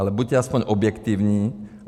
Ale buďte aspoň objektivní.